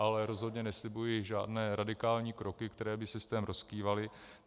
Ale rozhodně neslibuji žádné radikální kroky, které by systém rozkývaly.